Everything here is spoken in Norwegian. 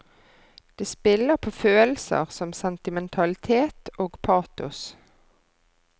Det spiller på følelser som sentimentalitet og patos.